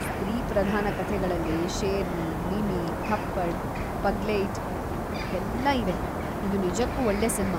ಸ್ತ್ರೀ-ಪ್ರಧಾನ ಕಥೆಗಳಲ್ಲಿ ಶೇರ್ನಿ, ಮಿಮಿ, ಥಪ್ಪಡ್‌, ಪಗ್ಲೇಯ್ಟ್ ಎಲ್ಲಾ ಇವೆ, ಇದು ನಿಜಕ್ಕೂ ಒಳ್ಳೇ ಸಿನ್ಮಾ.